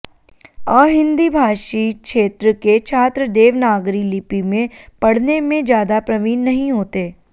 अहिंदी भाषी क्षेत्र के छात्र देवनागरी लिपि में पढ़ने में ज्यादा प्रवीण नहीं होते